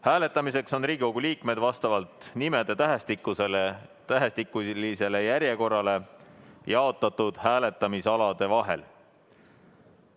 Hääletamiseks on Riigikogu liikmed vastavalt nimede tähestikulisele järjekorrale jaotatud hääletamisalade vahel.